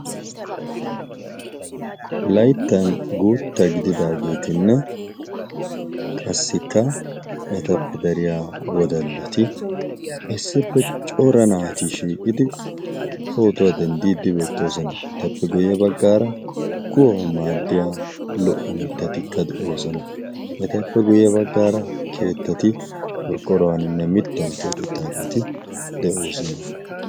laittan guutta gididaageetinne qassikka etappe dariyaa wodallati aissippe cora naati shiiqqidi pootuwaa denddiiddi beettoosona etappe guyye baggaara kuwau maaddiya lo''o mittatikka de'oosona etappe guyye baggaara keettati gorqqorawaaninne mittan xeexettaageeti de'oosona